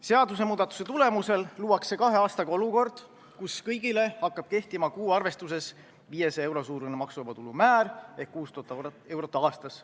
Seadusemuudatuse tulemusel luuakse kahe aastaga olukord, kus kõigile hakkab kehtima kuu arvestuses 500 euro suurune maksuvaba tulu määr ehk 6000 eurot aastas.